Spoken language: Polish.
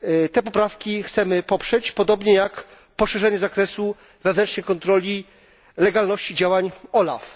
Te poprawki chcemy poprzeć, podobnie jak poszerzenie zakresu wewnętrznej kontroli legalności działań OLAF.